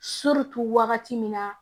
wagati min na